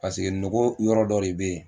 Paseke nogo yɔrɔ dɔ de bɛ yen